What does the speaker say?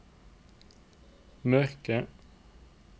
mørke